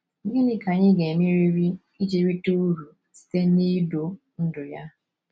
Gịnị ka anyị ga-emeriri iji rite uru site n’idu ndú ya?